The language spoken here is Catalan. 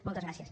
moltes gràcies